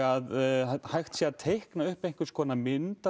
að hægt sé að teikna upp einhverskonar mynd